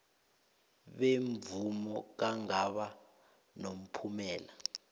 bemvumo kungaba nomphumela